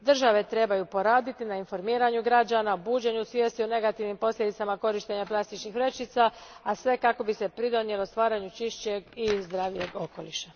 Države trebaju poraditi na informiranju građana, buđenju svijesti o negativnim posljedicama korištenja plastičnih vrećica, a sve kako bi se doprinijelo stvaranju čišćeg i zdravijeg okoliša.